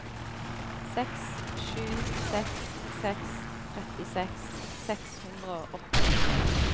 seks sju seks seks trettiseks seks hundre og åttisju